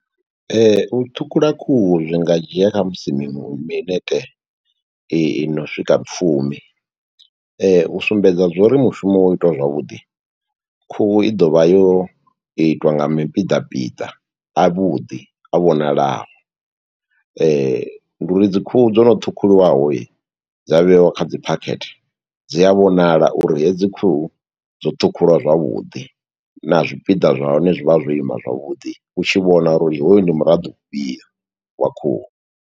U ṱhukhula khuhu zwi nga dzhia khamusi mi minete i i no swika fumi. U sumbedza zwo uri mushumo wo itiwa zwavhuḓi, khuhu i ḓovha yo itwa nga mipiḓa piḓa a vhuḓi a vhonalaho. Ndi uri dzi khuhu dzono ṱhukhuliwaho dza vheiwa kha dzi phakhethe, dzi a vhonala uri hedzi khuhu dzo ṱhukhulwa zwavhuḓi, na zwipiḓa zwa hone zwi vha zwo ima zwavhuḓi, u tshi vhona uri hoyu ndi muraḓo fhio wa khuhu.